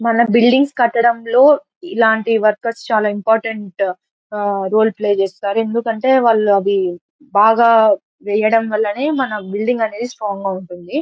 మన బిల్డింగ్స్ కట్టడం లో ఇలాంటి వర్కర్స్ చాల ఇంపార్టెంట్ ఊహ్హ్ రోల్ ప్లే చేస్తారు. ఎందుకంటే వాళ్ళు అవి బాగా వేయడం వలెనే మన బిల్డింగ్ అనేవి స్ట్రాంగ్ గ ఉంటుంది.